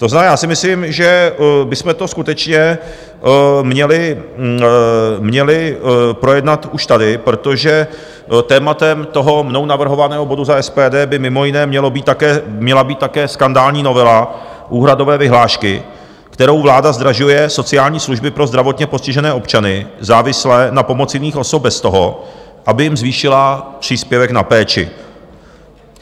To znamená, já si myslím, že bychom to skutečně měli projednat už tady, protože tématem toho mnou navrhovaného bodu za SPD by mimo jiné měla být také skandální novela úhradové vyhlášky, kterou vláda zdražuje sociální služby pro zdravotně postižené občany závislé na pomoci jiných osob bez toho, aby jim zvýšila příspěvek na péči.